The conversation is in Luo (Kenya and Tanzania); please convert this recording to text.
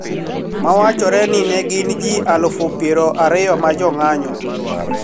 Ma wachore ni ne gin ji eluf pier ariyo ma jo ng`anyo